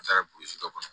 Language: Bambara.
An taara dɔ kɔnɔ